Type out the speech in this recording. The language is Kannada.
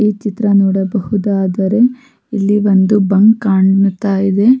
ಈ ಚಿತ್ರ ನೋಡಬಹುದಾದರೆ ಇಲ್ಲಿ ಒಂದು ಬಂಕ್ ಕಾಣ್ತಾ ಇದೆ-